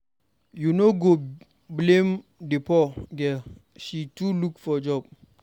You no go blame the poor girl, she too look for job.